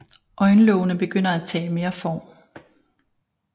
Øjenlågene begynder at tage mere form